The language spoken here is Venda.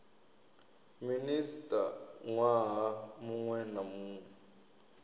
minista nwaha munwe na munwe